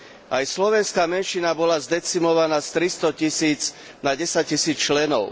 Aj slovenská menšina bola zdecimovaná z tristotisíc na desaťtisíc členov.